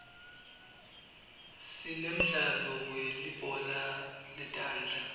sinemdlalo welibhola letandla